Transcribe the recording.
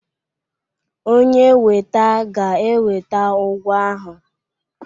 Onye weta ga-eweta ụgwọ ahụ.